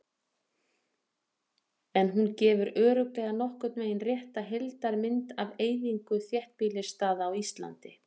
En hún gefur örugglega nokkurn veginn rétta heildarmynd af eyðingu þéttbýlisstaða á Íslandi.